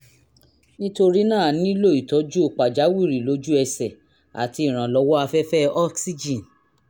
nítorí náà a nílò ìtọ́jú pàjáwìrì lójú ẹsẹ̀ àti ìrànlọ́wọ́ afẹ́fẹ́ oxygen